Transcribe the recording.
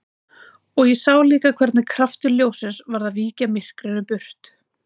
Og ég sá líka hvernig kraftur ljóssins var að víkja myrkrinu burt.